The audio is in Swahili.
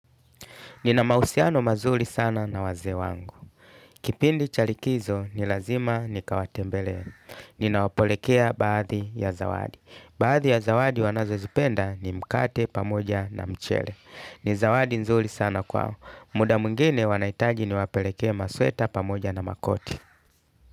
Nina mahusiano mazuri sana na wazee wangu. Kipindi cha likizo ni lazima nikawatembelee. Ninawapelekea baadhi ya zawadi. Baadhi ya zawadi wanazozipenda ni mkate, pamoja na mchele. Ni zawadi nzuri sana kwao. Muda mwingine wanahitaji niwapelekee masweta, pamoja na makoti.